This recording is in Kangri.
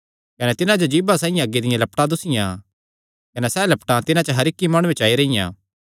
कने तिन्हां जो जीभा साइआं अग्गी दियां लपटां दुस्सियां कने सैह़ लपटां तिन्हां च हर इक्क माणुये च आई रेईयां